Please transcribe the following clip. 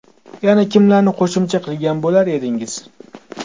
Yana kimlarni qo‘shimcha qilgan bo‘lar edingiz?